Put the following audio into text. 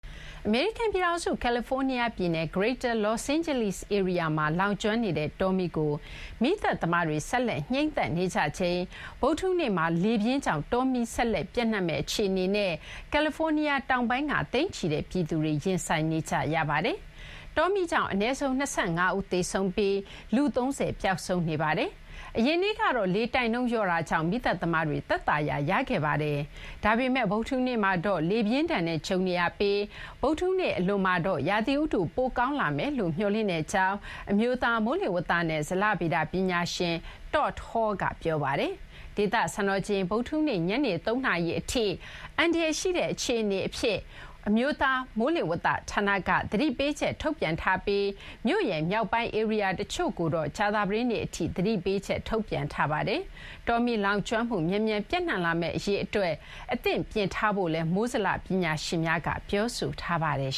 အမေရိကန် ပြည်ထောင်စု ကယ်လီဖိုးနီးယား ပြည်နယ် Greater Los Angeles ဧရိယာမှာ လောင်ကျွမ်းနေတဲ့ တောမီးကို မီးသတ်သမားတွေ ဆက်လက် ငြိမ်းသတ်နေကြချိန်မှာဘဲ ဗုဒ္ဓဟူးနေ့မှာ လေပြင်းကြောင့် တောမီး ဆက်လက် ပျံ့နှံ့မယ့် အခြေအနေနဲ့ ကယ်လီဖိုးနီးယား တောင်ပိုင်းက သိန်းချီတဲ့ ပြည်သူတွေ ရင်ဆိုင်နေကြရပါတယ်။ တောမီး ကြောင့် အနည်းဆုံး ၂၅ ဦး သေဆုံးပြီး လူ ၃၀ ပျောက်ဆုံးနေပါတယ်။ အရင်နေ့ကတော့ လေတိုက်နှုန်း လျော့တာကြောင့် မီးသတ်သမားတွေ သက်သာရာ ရခဲ့ပါတယ်။ ဒါပေမဲ့ ဗုဒ္ဓဟူးနေ့မှာတော့ လေပြင်းဒဏ်နဲ့ ကြုံနေရပြီး ဗုဒ္ဓဟူနေ့ အလွန်မှာတော့ ရာသီဥတု ပိုကောင်းလာမယ်လို့ မျှော်လင့်ကြောင်း အမျိုးသား မိုးလေဝသနဲ့ ဇလဗေဒ ပညာရှင် Todd Hall က ပြောပါတယ်။ ဒေသ စံတော်ချိန် ဗုဒ္ဓဟူးနေ့ ညနေ ၃ နာရီထိ အန္တရာယ်ရှိတဲ့ အခြေအနေအဖြစ် အမျိုးသား မိုးလေဝသ ဌာနက သတိပေးချက် ထုတ်ပြန်ထားပြီး မြို့ရဲ့ မြောက်ပိုင်း ဧရိယာ တချို့ကိုတော့ ကြာသပတေးနေ့ အထိ သတိပေးချက် ထုတ်ပြန်ထားပါတယ်။ တောမီး လောင်ကျွမ်းမှု မြန်မြန် ပျံ့နှံ့လာမယ့် အရေး အတွက် အသင့်ပြင်ထားဖို့လည်း မိုးဇလ ပညာရှင်များက ပြောဆိုထားပါတယ်